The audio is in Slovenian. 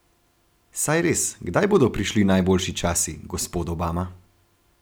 Saj res, kdaj bodo prišli najboljši časi, gospod Obama?